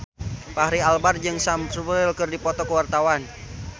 Fachri Albar jeung Sam Spruell keur dipoto ku wartawan